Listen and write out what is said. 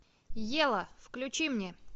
ева включи мне